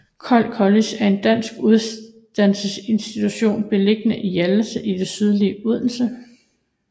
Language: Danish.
Kold College er en dansk uddannelsesinstitution beliggende i Hjallese i det sydlige Odense